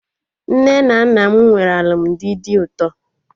Nne na nna m nwere alụmdi dị ụtọ